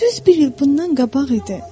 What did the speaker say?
Düz bir il bundan qabaq idi.